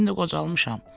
İndi qocalmışam.